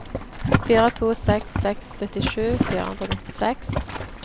fire to seks seks syttisju fire hundre og nittiseks